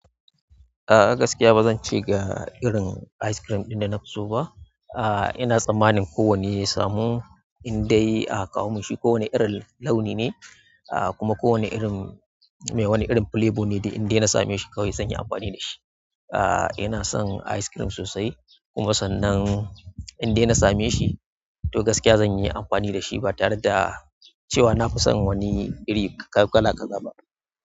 A a gaskiya ba zan ce ga irin ice cream ɗin da na fi so ba. A ina tsammanin kowane ya samu indai a ka kawo minshi. Kowane irin launi ne, a kuma kowane irin mai wani irin flavor ne, da indai na same shi kawai zan yi amfani da shi. A ina son ice cream sosai, kuma sannan indai na same shi, to gaskiya zan yi amfani da shi, ba tare da cewa na fi son wani iri kala kaza ba.